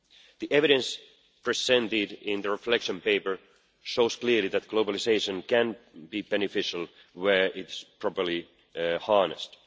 The evidence presented in the reflection paper shows clearly that globalisation can be beneficial where it is properly harnessed.